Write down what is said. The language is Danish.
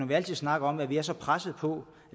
vi altid snakker om at vi er så presset på